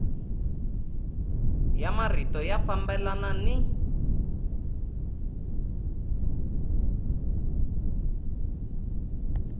ya marito ya fambelana ni